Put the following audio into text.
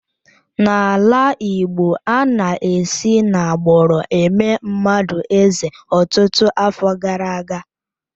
N'ala Igbo, ana-esi n'agbụrụ eme mmadụ eze ọtụtụ afọ gara aga.